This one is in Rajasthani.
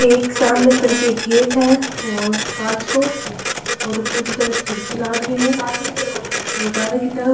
एक सामने तरफ एक गेट है और कांच को और ऊपर की तरफ खिड़की लाग री है और बहारे की तरफ --